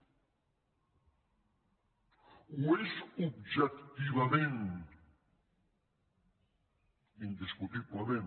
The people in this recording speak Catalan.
ho és objectivament indiscutiblement